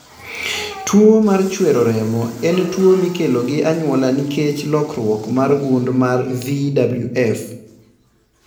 Tuwo mar chwero remo en tuwo mikelo gi anyuola nikech lokruok mar gund mar VWF.